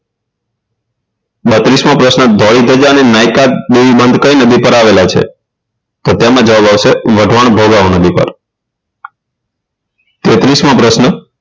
બત્રીસ મો પ્રશ્ન ધોળી ધજા અને નાયકાદેવી બંધ કઈ નદી પર આવેલો છે તો તેમાં જવાબ આવશે વઢવાણ ભોગાવ નદી પર તેત્રીસ મો પ્રશ્ન